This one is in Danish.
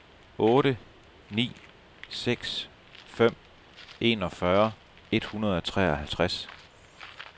otte ni seks fem enogfyrre et hundrede og treoghalvtreds